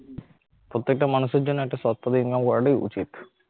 প্রত্যেকটা মানুষের জন্য একটা সৎ পথে income করাটাই উচিত